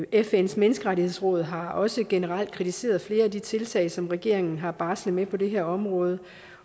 fns menneskerettighedsråd har også generelt kritiseret flere af de tiltag som regeringen har barslet med på det her område